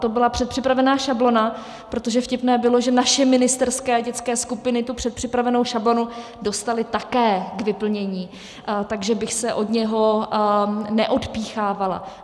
To byla předpřipravená šablona, protože vtipné bylo, že naše ministerské dětské skupiny tu předpřipravenou šablonu dostaly také k vyplnění, takže bych se od něj neodpíchávala.